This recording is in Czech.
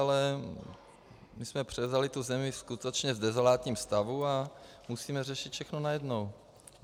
Ale my jsme převzali tu zemi skutečně v dezolátním stavu a musíme řešit všechno najednou.